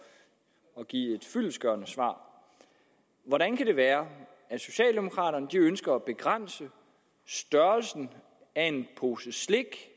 at give et fyldestgørende svar hvordan kan det være at socialdemokraterne ønsker at begrænse størrelsen af en pose slik